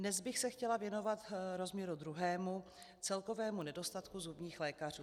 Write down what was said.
Dnes bych se chtěla věnovat rozměru druhému - celkovému nedostatku zubních lékařů.